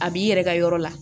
A b'i yɛrɛ ka yɔrɔ la